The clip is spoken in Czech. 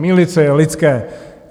Mýlit se je lidské.